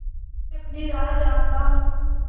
मैं अपनी राह जाता हूँ